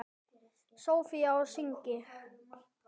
Soffía og synir.